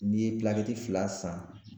N'i ye fila san